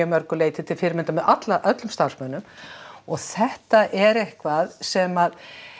mörgu leyti til fyrirmyndar með öllum starfsmönnum og þetta er eitthvað sem